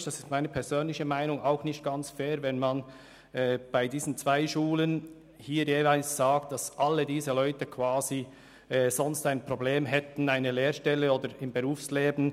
Ich finde es persönlich nicht ganz fair, wenn man sagt, dass all diese Leute ein Problem hätten, im Berufsleben Fuss zu fassen, wenn es diese Schulen nicht gäbe.